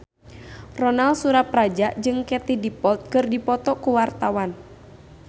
Ronal Surapradja jeung Katie Dippold keur dipoto ku wartawan